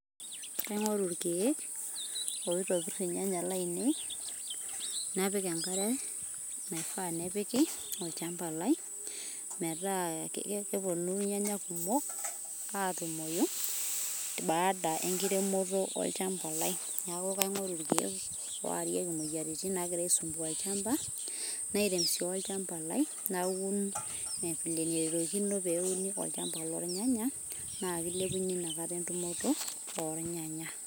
kaingoru ilkeek oitobir ilnyanya lainei, napik enkare, naia nepiki olchamba lai, meeta keponu ilnyanya kumok, atumoyu, baada enkiremoto olchamba lai, niaku kaingoru ilkeek orieki ilmoyiaritin nangira aisumbua olchamba, nairem si olchamba naun vile nenarikino peuni olchamba lo nyanya na kilepunyie nataka tumoto olnyanya.